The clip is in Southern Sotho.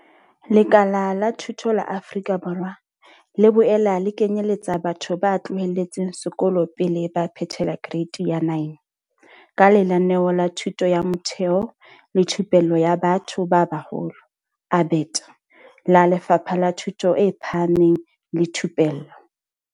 Lekala la thuto la Afrika Borwa le boela le kenyeletsa batho ba tloheletseng sekolo pele ba phethela Kereite ya 9, ka Lenaneo la Thuto ya Motheo le Thupello ya Batho ba Baholo, ABET, la Lefapha la Thuto e Phahameng le Thupello.